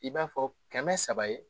I b'a fɔ kɛmɛ saba ye